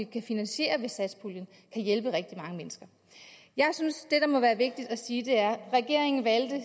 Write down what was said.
kan finansiere med satspuljen kan hjælpe rigtig mange mennesker jeg synes at må være vigtigt at sige er at regeringen